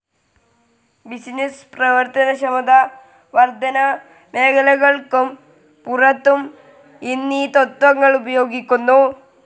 Business പ്രവർത്തനക്ഷമതാവർധനാ മേഖലകൾക്കും പുറത്തും ഇന്നീ തത്വങ്ങൾ ഉപയോഗിക്കുന്നു.